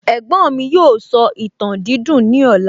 Ẹ̀gbọ́n mi yóò sọ ìtàn dídùn ní ọ̀la